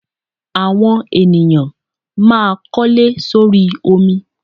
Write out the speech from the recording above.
Àwọn ènìyàn máa kólé sórí omi.